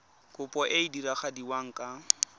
kopo e e diragadiwa ka